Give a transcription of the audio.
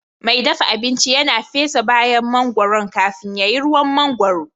Mai dafa abinci yana fesa bayan mangoron kafin ya yi ruwan mangwaro